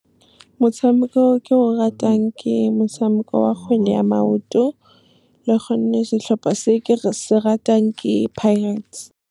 Motshameko o ke o ratang ke motshameko wa kgwele ya maoto, le gonne setlhopha se ke se ratang ke Pirates. Motshameko o ke o ratang ke motshameko wa kgwele ya maoto, le gonne setlhopha se ke se ratang ke Pirates.